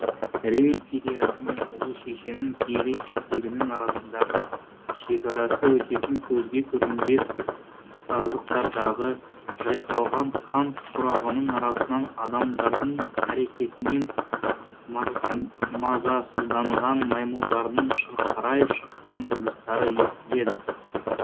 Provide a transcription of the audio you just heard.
рим империясы мен ұлы шешенің киелі иелігінің арасындағы шекарасы өтетін көзге көрінбес саздықтардағы жайқалған қант құрағының арасынан адамдардың қарекетінен мазасызданған маймылдардың шырқырай шыққан дыбыстары естіледі